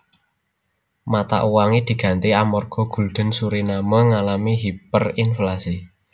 Mata uange diganti amarga gulden Suriname ngalami hiperinflasi